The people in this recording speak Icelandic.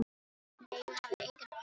Nei, hún hafði engan pakka fengið.